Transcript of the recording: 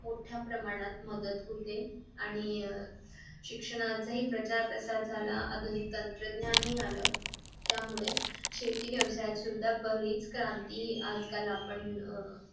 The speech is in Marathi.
मोठ्या प्रमाणात मदत होते आणि शिक्षणाचा प्रचार झाला आणि आधुनिक तंत्रज्ञान हि आलं त्यामुळे शेती व्यवसाय सुद्धा बरीच क्रांती आजकाल आपण अह